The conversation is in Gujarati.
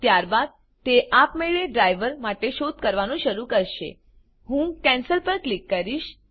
ત્યારબાદ તે આપમેળે ડ્રાઈવર માટે શોધ કરવાનું શરુ કરશેહું કેન્સલ પર ક્લિક કરીશ